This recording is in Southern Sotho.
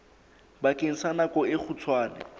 bakeng sa nako e kgutshwane